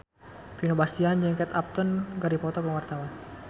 Vino Bastian jeung Kate Upton keur dipoto ku wartawan